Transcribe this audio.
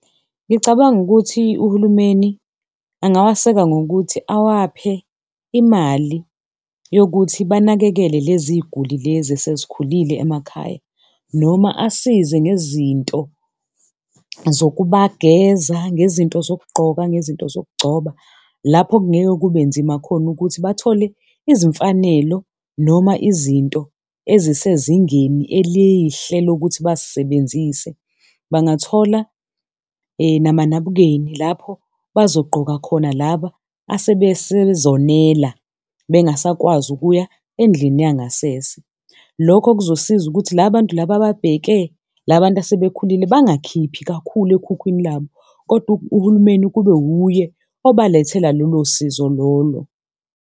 Ngicabanga ukuthi uhulumeni angawaseka ngokuthi awaphe imali yokuthi banakekele lezi y'guli lezi esezikhulile emakhaya noma asize ngezinto zokubageza, ngezinto zokugqoka, ngezinto zokugcoba. Lapho kungeke kube nzima khona ukuthi bathole izimfanelo noma izinto ezisezingeni elihle lokuthi bazisebenzise. Bangathola namanabukeni lapho bazogqoka khona laba asebesezonela bengasakwazi ukuya endlini yangasese. Lokho kuzosiza ukuthi la bantu laba ababheke labantu asebekhulile bangakhiphi kakhulu ekhukhwini labo kodwa uhulumeni kube wuye obalethela lolo sizo lolo.